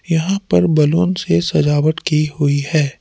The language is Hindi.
यहां पर बलून से सजावट की हुई है।